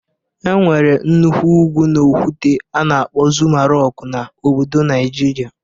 E nwere nnukwu ugwu na okwute a na-akpọ Zuma rọk na obodo Naịjirịa.